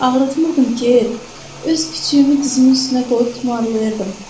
Mən onları ağrıtmırdım ki, öz kiçüyümü dizimin üstünə qoyub tumarlayırdım.